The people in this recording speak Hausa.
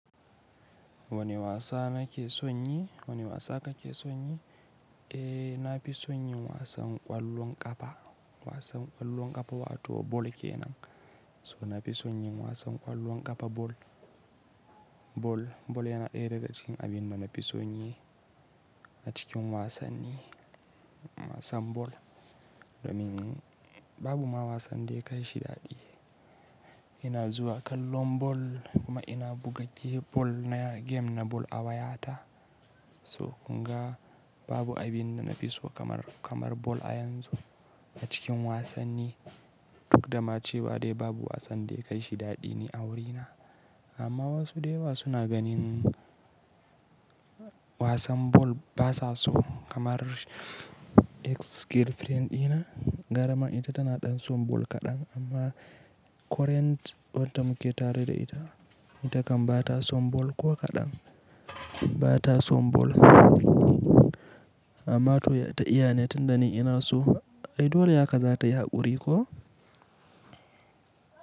Wane wasa nake son yi? Wane wasa kake son yi? Eh, na fi son yin wasan ƙwallon ƙafa. Wasan ƙwallon ƙafa wato ball kenan. So na fi son yin wasan ƙwallon ƙafa ball. Ball, ball yana ɗaya daga cikin abinda nafi son yi a cikin wasanni. Wasan ball, domin babu ma wasan da ya kai shi daɗi. Ina zuwa kallon ball kuma ina buga ge- ball na, gem na ball a wayata. So kunga babu abinda nafi so kamar, kamar ball a yanzu a cikin wasanni. Duk da ma cewa dai babu wasan da ya kai shi daɗi ni a wurina. Amma wasu dayawa suna ganin wasan ball ba sa so kamar ex-girlfriend ɗina. Garama ita tana ɗan son ball kaɗan amma current wanda muke tare da ita, ita kan ba ta son ball ko kaɗan. Ba ta son ball amma to ya ta iyane tunda ni ina so? Ai dole haka za ta yaƙuri ko?